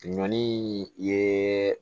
Ɲɔ ni ye